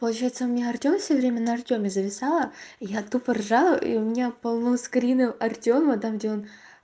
получается мне артём все время на артёме зависала я тупо ржала и у меня полно скринов артёма там где он